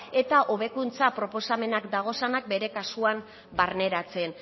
eta hobekuntza proposamenak daudenak bere kasuan barneratzen